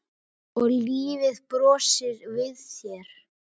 Og lífið brosir við þér!